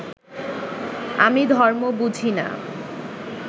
আমি ধর্ম বুঝি না